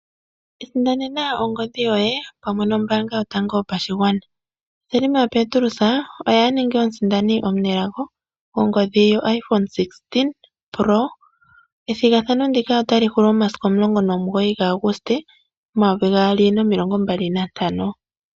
Iisindanena ongodhi yoye pamwe nombaanga yotango yopashigwana. Hilma Petrus oye a ningi omusindani omunelago gongodhi yoIPhone 16 pro, ethigathano ndika ota li hulu momasiku 19 Aguste 2025.